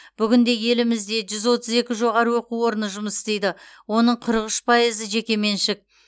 бүгінде елімізде жүз отыз екі жоғары оқу орындары жұмыс істейді оның қырық үш пайызы жекеменшік